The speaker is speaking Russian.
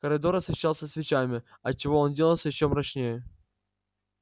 коридор освещался свечами отчего он делался ещё мрачнее